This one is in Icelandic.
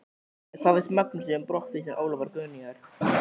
En hvað finnst Magnúsi um brottvísun Ólafar Guðnýjar?